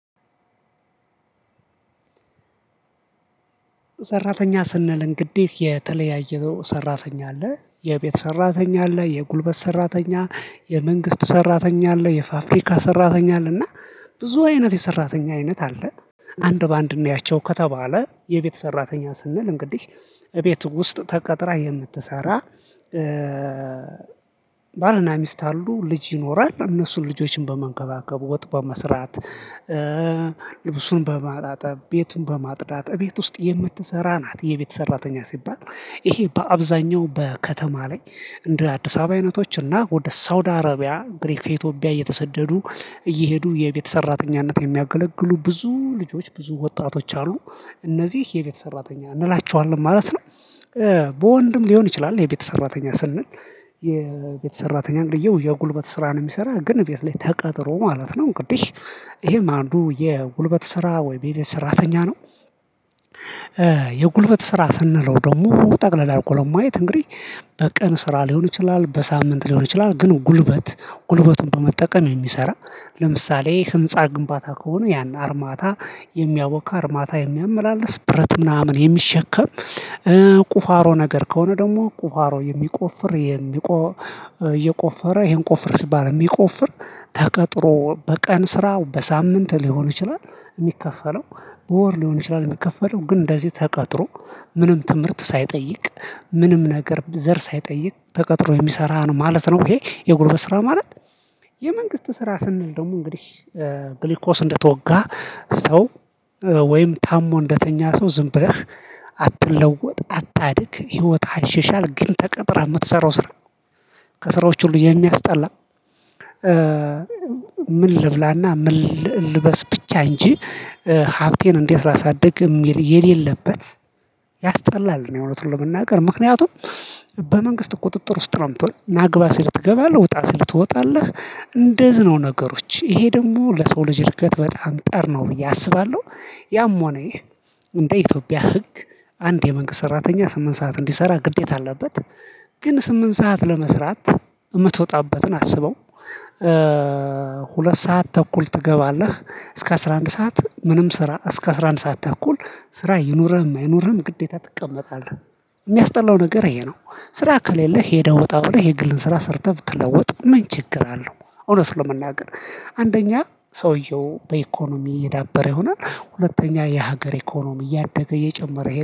ሰራተኛ ስንል እንግዲህ የተለያየው ሰራተኛ አለ የቤት ሰራተኛ አለ የጉልበት ሰራተኛ የመንግስት ሰራተኛ አለ የፋፍሪካ ሰራተኛ አለና ብዙ አይነት የሰራተኛ አይነት አለ። አንድ በአንድ እናያቸው ከተባለ የቤት ሰራተኛ ስንል እንግዲህ እቤቱ ውስጥ ተቀጥራ የምትሰራ ባልና ሚስት አሉ ልጅ ይኖራል እነሱን ልጆችን በመንከባከቡ ወጥ በመስራት ልብሱን በማጣጠብ ቤቱን በማጥዳት ቤት ውስጥ የምትሰራ ናት። የቤት ሰራተኛ ሲባል ይሄ በአብዛኛው በከተማ ላይ እንደ አዲስ አበባ አይነቶች እና ወደ ሳውዲ አረቢያ እንግዲህ ከኢትዮጵያ እየተሰደዱ እየሄዱ የቤት ሰራተኝነት የሚያገለግሉ ብዙ ልጆች ብዙ ወጣቶች አሉ። እነዚህ የቤት ሰራተኛ እንላቸዋለን ማለት ነው። በወንድም ሊሆን ይችላል የቤተ ሰራተኛ ስንል። የቤት ሰራተኛ እንግዲህ የጉልበት ስራን የሚሰራ ግን ቤት ላይ ተቀጥሮ ማለት ነው እንግዲ ይሄም አንዱ የጉልበት ስራ ወይም የቤት ስራተኛ ነው። የጉልበት ስራ ስንለው ደግሞ ጠቅለል አደርጎ ለማየት እንግዲህ በቀን ስራ ሊሆን ይችላል በሳምንት ሊሆን ይችላል ግን ጉልበት ጉልበቱን በመጠቀም የሚሰራ ለምሳሌ ህንፃ ግንባታ ከሆነ ያን አርማታ የሚያቦካ አርማታ የሚያመላልስ ብረት ምናምን የሚሸከም። ቁፋሮ ነገር ከሆነ ደግሞ ቁፋሮ የሚቆፍር የሚቆ እየቆፈረ ይሄን ቆፍር ሲባል የሚቆፍር ተቀጥሮ በቀን ስራው በሳምንት ሊሆን ይችላል። የሚከፈለው ወር ሊሆን ይችላል የሚከፈለው ግን እንደዚህ ተቀጥሮ ምንም ትምህርት ሳይጠይቅ ምንም ነገር ዘር ሳይጠይቅ ተቀጥሮ የሚሰራ ነው ማለት ነው። ይሄ የጉልበት ስራ ማለት። የመንግስት ስራ ስንል ደግሞ እንግዲህ ግልግኮስ እንደተወጋ ሰው ወይም ታሞ እንደተኛ ሰው ዝም ብለህ አትለወጥ አታድግ ህይወት አይሻሻል ግን ተቀጥረ የምትሰራው ስራ። ከስራዎች ሁሉ የሚያስጠላ። ምን ልብላና ምን ልልበስ ብቻ እንጂ ሀብቴን እንዴት ላሳድግ ሚል የሌለበት ያስጠላል ነው። እውነቱን ለመናገር ምክንያቱም በመንግስት ቁጥጥር ውስጥ ነው የምትሆነው ና ግባ ሲል ትገባለህ ውጣ ሲል ትወጣለህ። እንደዚህ ነው ነገሮች ይሄ ደግሞ ለሰው ልጅ እርገት በጣም ጠር ነው ብዬ አስባለሁ። ያም ሆነ ይህ እንደ ኢትዮጵያ ህግ አንድ የመንግስት ሰራተኛ ስምንት ሰዓት እንዲሰራ ግዴታ አለበት። ግን ስምንት ሰዓት ለመስራት የምትወጣበትን አስበው ሁለት ሰዓት ተኩል ትገባለህ እስከ አስራ አንድ ሰዓት ምንም ስራ እስከ አስራ አንድ ሰዓት ተኩል ስራ ይኑርህም አይኑርህም ግዴታ ትቀመጣለህ። የሚያስጠላው ነገር ይሄ ነው። ስራ ከሌለህ ሄደህ ወጣ ብለ የግልን ስራ ሰርተህ ብትለውጥ ምን ችግር አለው? እውነት ለመናገር አንደኛ ሰውየው በኢኮኖሚ እየዳበረ ይሆናል። ሁለተኛ የሀገር ኢኮኖሚ እያደገ እየጨመረ